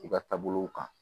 I ka taabolow kan